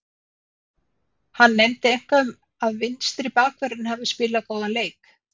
Hann nefndi eitthvað um að vinstri bakvörðurinn hafi spilað góðan leik.